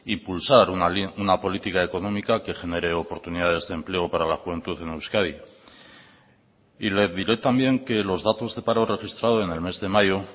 impulsar una política económica que genere oportunidades de empleo para la juventud en euskadi y le diré también que los datos de paro registrado en el mes de mayo